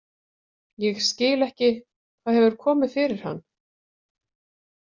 Ég skil ekki hvað hefur komið fyrir hann.